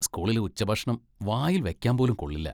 സ്കൂളിലെ ഉച്ചഭക്ഷണം വായിൽ വെക്കാൻ പോലും കൊള്ളില്ല.